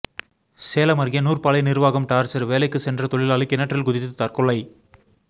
சேலம் அருகே நூற்பாலை நிர்வாகம் டார்ச்சர் வேலைக்கு சென்ற தொழிலாளி கிணற்றில் குதித்து தற்கொலை